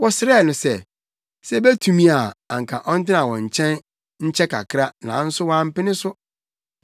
Wɔsrɛɛ no sɛ, sɛ obetumi a anka ɔntena wɔn nkyɛn nkyɛ kakra nanso wampene so.